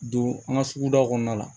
Don an ka sugu da kɔnɔna la